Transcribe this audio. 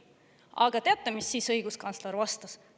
Aga teate, mis siis õiguskantsler vastas?